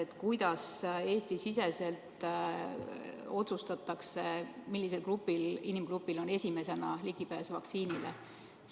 Ja kuidas Eesti-siseselt otsustatakse, millisel inimgrupil on esimesena ligipääs vaktsiinile?